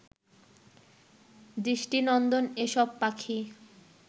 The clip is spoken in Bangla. দৃষ্টিনন্দন এসব পাখি